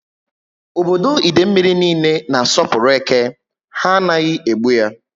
Ọbọdọ Idemili niile na asopuru eke. Ha anaghị egbu ya ya